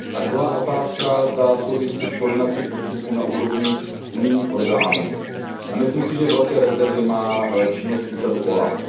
A druhá otázka, ta souvisí s koordinací postupů na úrovni unijních orgánů a myslím si, že velké rezervy má činnost úřadu OLAF.